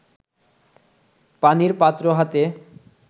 পানির পাত্র হাতে